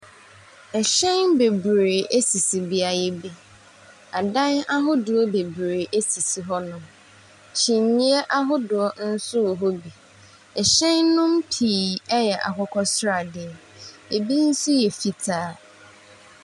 Ɛhyɛn bebree ɛsisi beayɛ bi. Adan ahodoɔ bebree sisi hɔ nom. Kyinyɛ ahodoɔ nso wɔ hɔ bi. Ɛhyɛn no mu pii ɛyɛ akokɔ sradeɛ. Ɛbi nso yɛ fitaa.